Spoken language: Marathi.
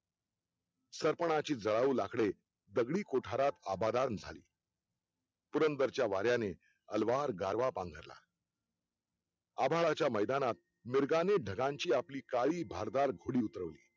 सरपणाची जळाऊ लाकडे दगडी कोठारात आबादान झाली पुरंदरच्या वाऱ्याने अलवार गारवा पांगरला आभाळाच्या मैदानात मिरगाने ढगांची आपली काळी भारधार घोडी उतरवली